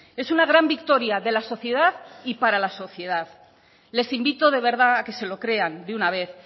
es una gran victoria de la sociedad y para la sociedad les invito de verdad a que se lo crean de una vez